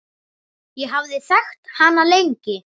Ég hafði þekkt hana lengi.